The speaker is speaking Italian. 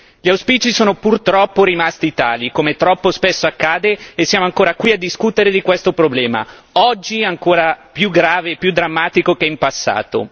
Gli auspici sono purtroppo rimasti tali, come troppo spesso accade, e siamo ancora qui a discutere di questo problema, oggi ancora più grave e più drammatico che in passato.